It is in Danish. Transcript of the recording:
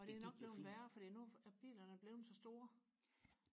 og det er jo nok blevet værre fordi nu er bilerne blevet så store